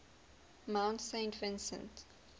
mount saint vincent